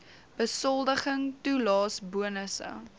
besoldiging toelaes bonusse